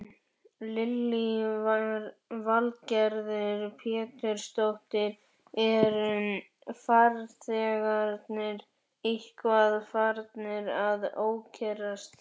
Lillý Valgerður Pétursdóttir: Eru farþegarnir eitthvað farnir að ókyrrast?